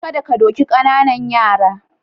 Kada ka doki ƙananan yara.